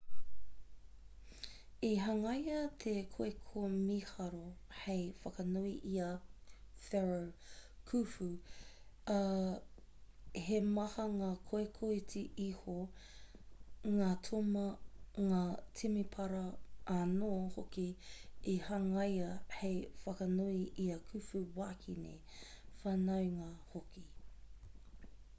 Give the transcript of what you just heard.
i hangaia te koeko mīharo hei whakanui i a pharaoh khufu ā he maha ngā koeko iti iho ngā toma ngā temepara anō hoki i hangaia hei whakanui i ā khufu wāhine whanaunga hoki